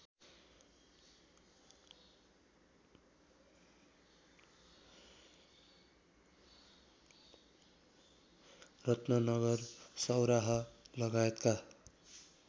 रत्ननगर सौराहा लगायतका